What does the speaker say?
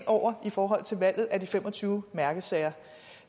over i forhold til valget af de fem og tyve mærkesager